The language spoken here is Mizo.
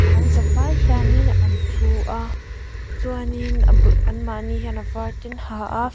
an za vai hianin an thu a chuanin a bul an mah ni hian a var te an ha a.